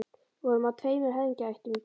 Við vorum af tveimur höfðingjaættum í Kína.